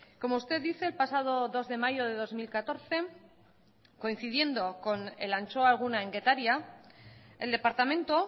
como usted dice el pasado dos de mayo de dos mil catorce coincidiendo con el antxoa eguna en getaria el departamento